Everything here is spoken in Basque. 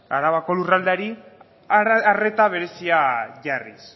arabako lurraldeari arreta berezia jarriz